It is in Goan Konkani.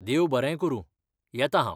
देव बरें करूं, येता हांव!